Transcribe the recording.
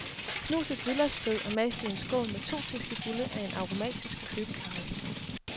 Knus et hvidløgsfed og mas det i en skål med to teskefulde af en aromatisk købecarry.